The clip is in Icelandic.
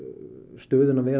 stöðuna vera